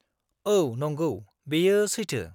औ नंगौ, बेयो सैथो।